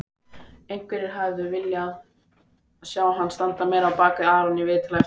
Einhverjir hefðu viljað sjá hann standa meira á bakvið Aron í viðtali eftir leikinn.